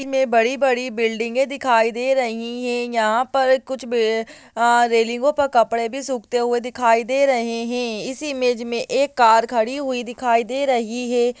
बड़ी-बड़ी बिल्डिंगे दिखाई दे रही है| यहां पर कुछ ब अ रेलिंगो पर कपड़े भी सूखते हुए दिखाई दे रहे हैं| इस इमेज में एक कार खड़ी हुई दिखाई दे रही है।